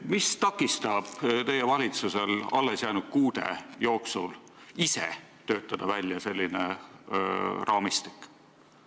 Mis takistab teie valitsusel alles jäänud kuude jooksul ise töötada välja selline raamistik?